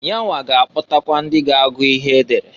Yanwa ga-akpọtakwa ndị ga-agụ ihe edere.